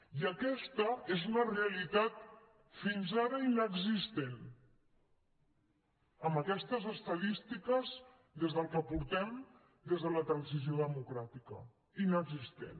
i aquesta és una realitat fins ara inexistent amb aquestes estadístiques des del que portem des de la transició democràtica inexistent